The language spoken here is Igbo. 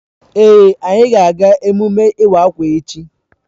Èé, anyị ga-aga emume iwa akwa echi.